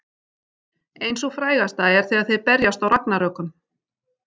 Ein sú frægasta er þegar þeir berjast í Ragnarökum.